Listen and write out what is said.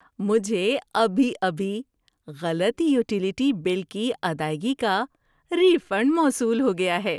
مجھے ابھی ابھی غلط یوٹیلیٹی بل کی ادائیگی کا ری فنڈ موصول ہو گیا ہے۔